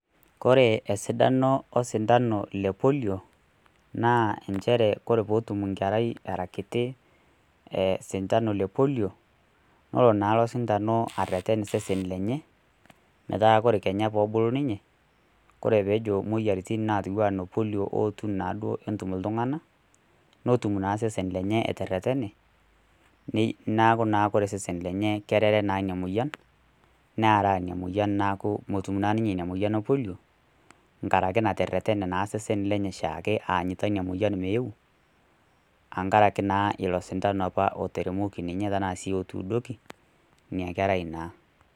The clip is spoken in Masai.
Kore esidano osintano le Polio, naa enchere kore pee etum enkerei aa kiti sintano le Polio, nelo naa ilo sintano areten osesen lenye metaa kore kenya peebulu ninye, kore peejo imoyiaritin naijo noo polio ootu naa netum iltung'ana , netum naa osesen lenye eteretene, neaku naa kore osesen lenye naa kerere ina moian, nearaa naa ina moyian neaku naa metum ninye ina moyian o Polio, nkaraki nateretena naa esesn lenye oshaake aanyita ina moyian meeu enkaraki ilo sindano opa oteremoki ninye tanaa sii otuudoki, ina kerai naa.